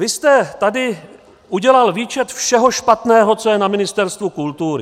Vy jste tady udělal výčet všeho špatného, co je na Ministerstvu kultury.